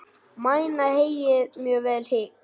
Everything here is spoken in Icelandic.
Mæna heyið mjög vel hygg.